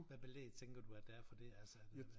Hvad belæg tænker du at der er for det altså er det hvad